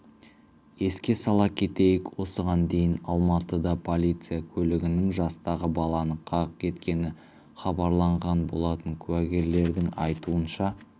еске сала кетейік осыған дейін алматыда полиция көлігінің жастағы баланы қағып кеткені хабарланған болатын куәгерлердің айтуынша оқиға